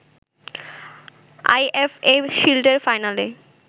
IFA শিল্ডের ফাইনালে